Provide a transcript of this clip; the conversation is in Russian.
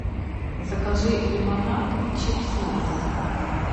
закажи лимонад и чипсы лейс